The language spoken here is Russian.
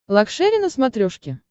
лакшери на смотрешке